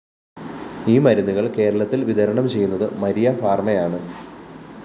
ഈ മരുന്നുകള്‍ കേരളത്തില്‍ വിതരണം ചെയ്യുന്നത്‌ മാരിയ ഫാര്‍മയാണ്‌